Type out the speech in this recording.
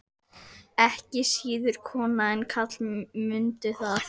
Ekki síður konur en karlar, mundu það.